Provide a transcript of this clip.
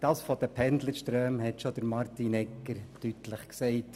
Das Problem mit den Pendlerströmen hat Grossrat Egger bereits deutlich geschildert.